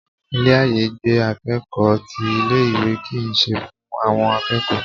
Ilé àyágbé akẹ́kọ̀ọ́ ti ilé ìwé kìí tó fún àwọn akẹ́kọ̀ọ́